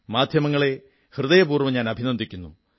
മാധ്യമങ്ങളെ ഹൃദയപൂർവ്വം അഭിനന്ദിക്കുന്നു